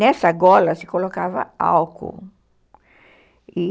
Nessa gola se colocava álcool.